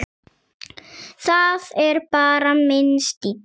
Það er bara minn stíll.